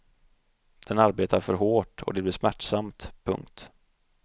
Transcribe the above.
Den arbetar för hårt och det blir smärtsamt. punkt